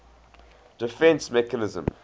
defence mechanism